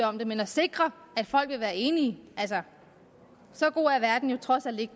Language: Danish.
om det men at sikre at folk vil være enige altså så god er verden jo trods alt ikke